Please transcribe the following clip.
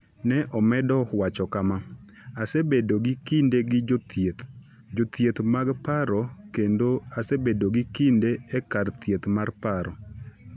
Ne omedo wacho kama: “Asebedo gi kinde gi jothieth, jothieth mag paro kendo asebedo gi kinde e kar thieth mar paro.